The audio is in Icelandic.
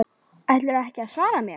Ætlarðu ekki að svara mér?